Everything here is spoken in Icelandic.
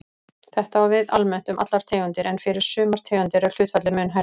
Þetta á við almennt um allar tegundir en fyrir sumar tegundir er hlutfallið mun hærra.